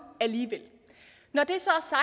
alligevel når det